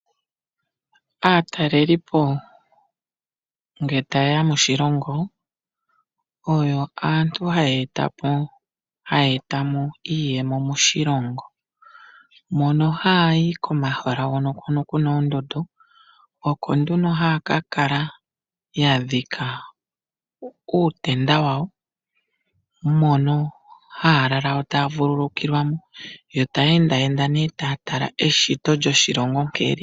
Aatelelipo nge taye ya moshilongo, oyo aantu haye eta po, hayee ta mo iiyemo moshilongo. Mono hayi komahala hono ku na oondundu, oko nduno haya ka kala ya dhika uutenda wawo mono haya lala yo taya vululukilwa mo, yo taya endaenda nee taya tala eshito lyoshilongo nkene li li.